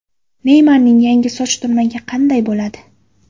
Neymarning yangi soch turmagi qanday bo‘ladi?